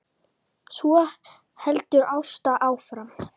Svo heldur Ásta áfram